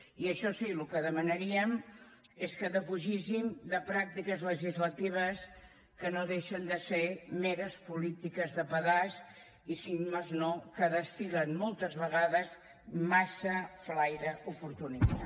i això sí el que demanaríem és que defugíssim de pràctiques legislatives que no deixen de ser meres polítiques de pedaç i si més no que destil·len moltes vegades massa flaire oportunista